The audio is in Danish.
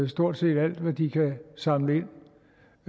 stort set alt hvad de kan samle